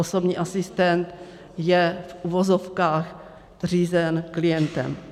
Osobní asistent je v uvozovkách řízen klientem.